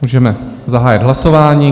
Můžeme zahájit hlasování.